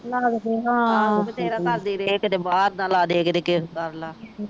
ਬਥੇਰਾ ਕਰਦੇ ਰਹੇ ਕਦੇ ਬਾਹਰ ਦਾ ਲਾਦੇ ਕਦੇ